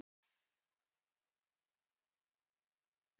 Já og hana nú.